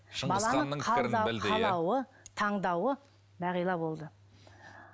таңдауы бағила болды